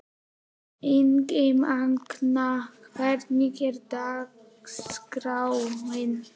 Ingimagn, hvernig er dagskráin?